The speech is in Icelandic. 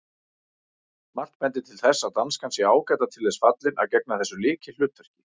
Margt bendir til þess að danskan sé ágætlega til þess fallin að gegna þessu lykilhlutverki.